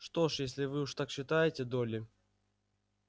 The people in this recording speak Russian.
что ж если уж вы так считаете долли